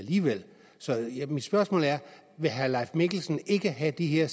så mit spørgsmål er vil herre leif mikkelsen ikke have de her